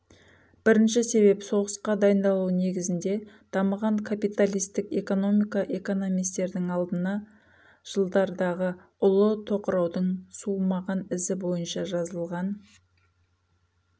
бірінші себеп соғысқа дайындалу негізінде дамыған капиталистік экономика экономистердің алдына жылдардағы ұлы тоқыраудың суымаған ізі бойынша жазылған